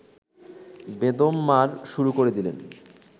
বেদম মার শুরু করে দিলেন